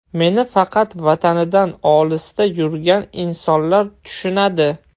Meni faqat vatanidan olisda yurgan insonlar tushunadi.